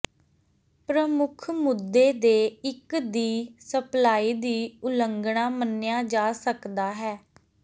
ਪ੍ਰਮੁੱਖ ਮੁੱਦੇ ਦੇ ਇੱਕ ਦੀ ਸਪਲਾਈ ਦੀ ਉਲੰਘਣਾ ਮੰਨਿਆ ਜਾ ਸਕਦਾ ਹੈ